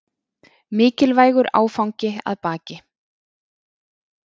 Mikilvægur áfangi að baki